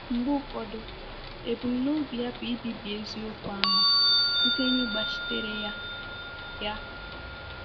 Mgbe ụfọdụ, ebumnobi ya bụ ibibi eziokwu ahụ site n'ịgbachitere ya.” ya.”